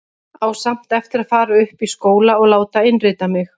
Á samt eftir að fara upp í skóla og láta innrita mig.